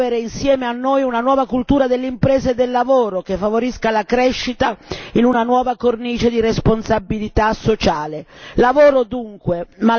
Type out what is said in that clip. A loro chiediamo di promuovere insieme a noi una nuova cultura dell'impresa e del lavoro che favorisca la crescita in una nuova cornice di responsabilità sociale.